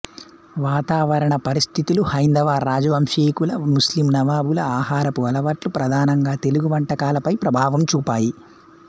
వాతావరణ పరిస్థితులు హైందవ రాజవంశీకుల ముస్లిం నవాబుల ఆహారపుటలవాట్లు ప్రధానంగా తెలుగు వంటకాలపై ప్రభావం చూపాయి